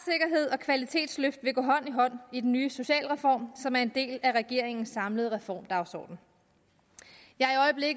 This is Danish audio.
og kvalitetsløft vil gå hånd i hånd i den nye socialreform som er en del af regeringens samlede reformdagsorden jeg